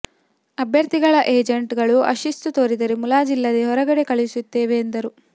ಅಭ್ಯರ್ಥಿಗಳ ಏಜೆಂಟ್ ಗಳು ಅಶಿಸ್ತು ತೋರಿದರೆ ಮುಲಾಜಿಲ್ಲದೆ ಹೊರಗಡೆ ಕಳುಹಿಸುತ್ತೇವೆ ಎಂದರು